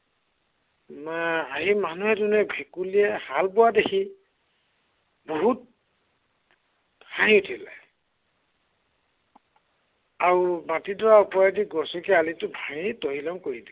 ভেকুলীয়ে হাল বোৱা দেখি, বহুত হাঁহি উঠিলে আৰু মাটিডৰাৰ ওপৰেদি গছকি আলিটো ভাঙি তহিলং কৰিলে।